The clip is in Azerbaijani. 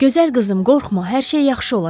Gözəl qızım, qorxma, hər şey yaxşı olacaq.